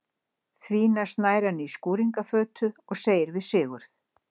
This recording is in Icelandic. Því næst nær hann í skúringafötu og segir við Sigurð: